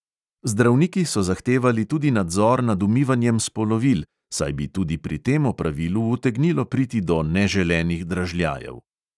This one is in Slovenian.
Zdravniki so zahtevali tudi nadzor nad umivanjem spolovil, saj bi tudi pri tem opravilu utegnilo priti do neželenih dražljajev.